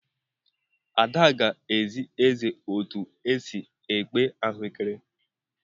Ada ga-ezi eze ụtụ esi ekpe ahuekere.